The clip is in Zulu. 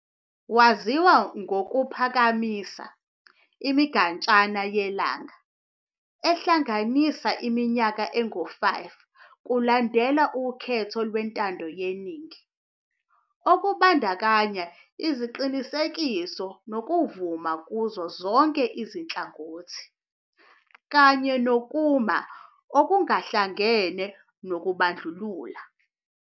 Waziwa ngokuphakamisa "imigatshana yelanga" ehlanganisa iminyaka engu-5 kulandela ukhetho lwentando yeningi, okubandakanya iziqinisekiso nokuvuma kuzo zonke izinhlangothi, kanye nokuma okungahlangene nobandlululo.